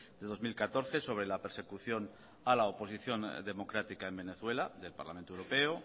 de dos mil catorce sobre la persecución a la oposición democrática en venezuela del parlamento europeo